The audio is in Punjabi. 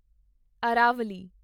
ਅਰਾਵਲੀ